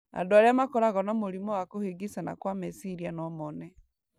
Andũ arĩa makoragwo na mũrimũ wa kũhĩngĩcana kwa meciria no mone